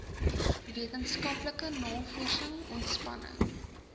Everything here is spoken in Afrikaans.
wetenskaplike navorsing ontspanning